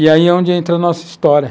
E aí é onde entra a nossa história.